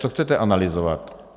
Co chcete analyzovat?